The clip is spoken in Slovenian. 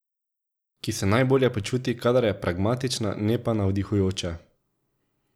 Ki se najbolje počuti, kadar je pragmatična, ne pa navdihujoča.